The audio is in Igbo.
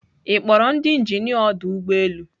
Ị kpọrọ ndị injinia ọdọ ụgbọelu?